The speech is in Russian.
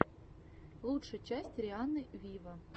лучшая часть рианны виво